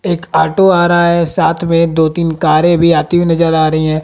एक ऑटो आ रहा है साथ में दो तीन कारें भी आती हुई नजर आ रही हैं।